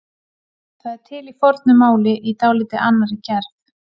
Það er til í fornu máli í dálítið annarri gerð.